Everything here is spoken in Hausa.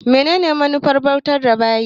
Menene manufar bautar da bayi?